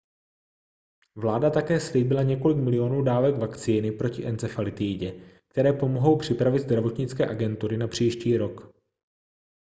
vláda také slíbila několik milionů dávek vakcíny proti encefalitidě které pomohou připravit zdravotnické agentury na příští rok